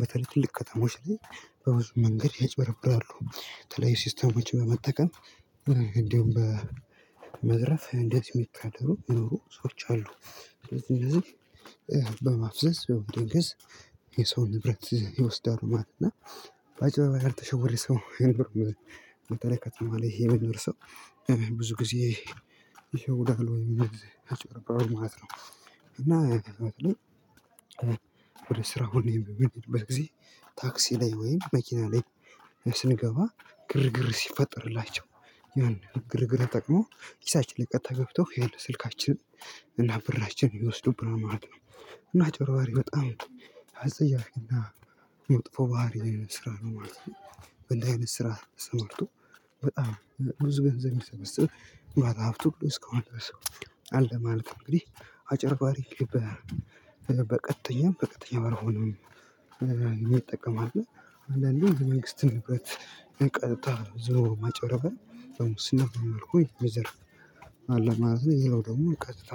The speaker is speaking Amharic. በተለይ ትልቅ ከተሞች ላይ በብዙ መንገድ ያጭበረብራሉ በተለይ ሲስተሞች በመጠቀም። እንደውም በመዝረፍ እንዴት የሚታደሩ የኖሩ ሰዎች አሉ። ስለዚህ እነዚህ በማፍለስ በመፈንከት ሰው ንብረት ይወስዳሉ ማለት ነው። እና በአጭበርባሪ ላይ ያልተሸወደ ሰው የኖርኩት መጠለያ ከትምህርት ይሄ የመጀመሪያው ብዙ ጊዜ ይሸውዳሉ ወይም አጭበርባሪው ማለት ነው። እና። ስራውን በጊዜ ታክሲ ላይ ወይም መኪና ላይ ስንገባ ግርግር ሲፈጠርላቸው ያን ግርግር ተጠቅሞ ኪሳች ላይ ቀጥታ ገብተው ያለው ስልካችን እና ብራችን የሚወስዱብን ማለት ነው። እና አጭበርባሪ በጣም አጸያፊና መጥፎ ባህሪ አይነት ስራ ነው ማለት ነው። በላይነት ስራ ስመልሰው በጣም ብዙ ገንዘብ የሚሰበስብ ምናልባት አፍቶሎስ ከሆነ አለ ማለት ነው። እንግዲህ አጭበርባሪ በቀጥተኛም በቀጥተኛም አልሆነም። ይጠቀማል አንዳንዴ የመንግስት ንብረት ቀጥታ ዞሮ ማጭበርበር ስነፍ ሆይ ሪዘርቭ አለ ማለት ነው። ይለው ደግሞ ቀጥታ